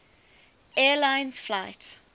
air lines flight